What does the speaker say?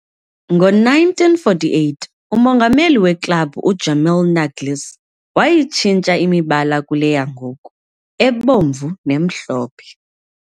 Ngo-1948, umongameli weklabhu, u-Jamil Naglis, wayitshintsha imibala kule yangoku, ebomvu nemhlophe.